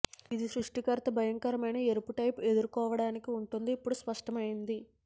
ఇది సృష్టికర్త భయంకరమైన ఎరుపు టేప్ ఎదుర్కోవటానికి ఉంటుంది ఇప్పుడు స్పష్టమైంది